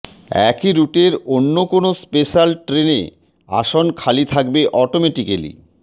একই রুটের অন্য কোনএ স্পেশাল ট্রেনে আসন খালি থাকলে অটোমেটিক্যালি